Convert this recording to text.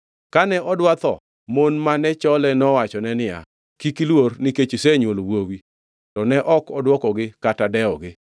Kane odwa tho, mon mane chole nowachone niya, “Kik iluor nikech isenywolo wuowi.” To ne ok odwokogi kata dewogi.